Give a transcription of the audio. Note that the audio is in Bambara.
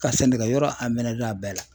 Ka sɛnɛkɛyɔrɔ a bɛɛ la.